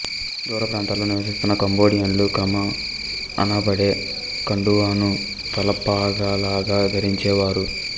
దూరప్రాంతాలలో నివసిస్తున్న కంబోడియన్లు క్రామా అనబడే కండువాను తలపాగాలాగా ధరించే వారు